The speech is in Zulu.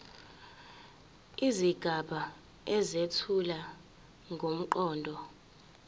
izigaba ezethula ngomqondo